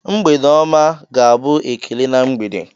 "Mgbede ọma!" ga-abụ ekele na mgbede.